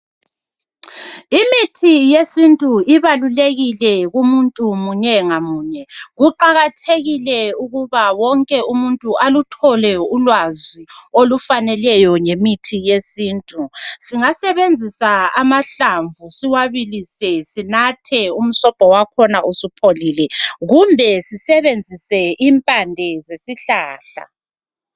Imithi yesintu ibalulekile kumuntu munyengamunye kuqakathekile ukuba wonke umuntu aluthole ulwazi olufaneleyo ngemithi yesintu singasebenzisa amahlavu siwabilise sinathe umswobho wakho usupholile kumbe sisebenzise impande zesihlahla.